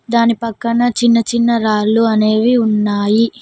దాని పక్కన చిన్న చిన్న రాళ్లు అనేవి ఉన్నాయి.